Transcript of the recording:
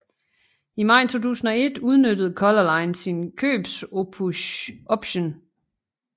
I maj 2001 udnyttede Color Line sin købsoption